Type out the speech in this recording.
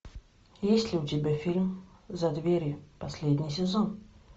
есть ли у тебя фильм за дверью последний сезон